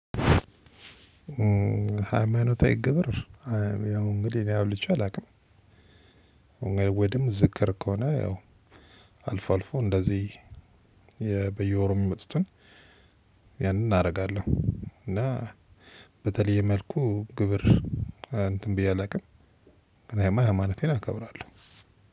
ሃይማኖታዊ ግብር ያው እንግዲህ አብልቼ አላውቅም። ወይም ዝክር ከሆነ ያው አልፎ አልፎ እንደዚህ በየወሩ ሚጡትን ያንን አደርጋለሁ። እና በተለይ መልኩ ግብር እንትን ብዬ አላውቅም። ግን ያማ ሃይማኖቴን አከብራለሁ።